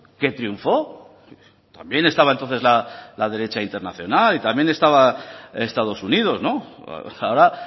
que triunfó también estaba entonces la derecha internacional y también estaba estados unidos ahora